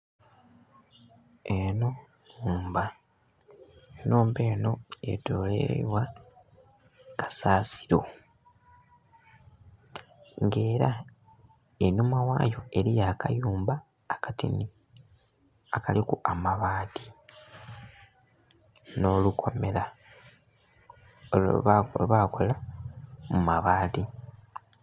Enho nhumba, enhumba enho yetolweirwa kasasiro nga era einhuma ghayo eriyo akayumba akatini akaliku amabati nho lukomera lwebakola mu mabati.